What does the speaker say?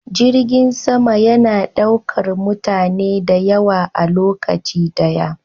Jirgin sama yana daukar mutane da yawa a lokaci daya.